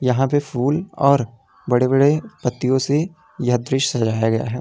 यहां पर फूल और बड़े बड़े पत्तियों से यह दृश्य सजाया गया है।